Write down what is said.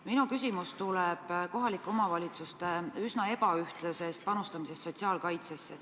Minu küsimus tuleb kohalike omavalitsuste üsna ebaühtlasest panustamisest sotsiaalkaitsesse.